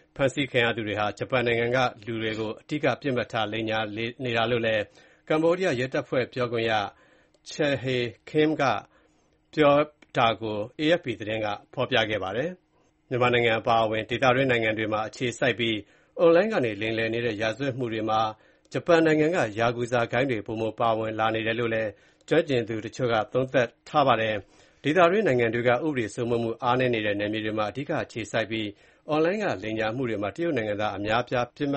ဖော်ပြခဲ့တာပါ။ ဖမ်းဆီးခံရသူတွေဟာ ဂျပန်နိုင်ငံက လူတွေကို အဓိက ပစ်မှတ်ထား လိမ်ညာနေတာလို့လည်း ကမ္ဘောဒီးယားရဲတပ်ဖွဲ့ ပြောခွင့်ရ Chhay Kim Khoeun ကပြောပါတယ်။ မြန်မာနိုင်ငံ အပါအဝင် ဒေသတွင်းနိုင်ငံတွေမှာ အခြေစိုက်ပြီး အွန်လိုင်းကနေ လိမ်လည်နေတဲ့ ရာဇဝတ်မှုတွေမှာ ဂျပန်နိုင်ငံက ယာကူဇာဂိုဏ်းတွေ ပိုမိုပါဝင်လာနေတယ်လို့လည်း ကျွမ်းကျင်သူ တချို့က သုံးသပ်နေကြပါတယ်။ ဒေသတွင်း နိုင်ငံတွေက ဥပဒေစိုးမိုးမှု အားနည်းတဲ့ နယ်မြေတွေမှာ အဓိက အခြေစိုက်ပြီး အွန်လိုင်းက လိမ်လည်မှုတွေမှာ တရုတ်နိုင်ငံသား အများအပြား ပစ်မှတ်